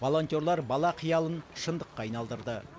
волонтерлар бала қиялын шындыққа айналдырды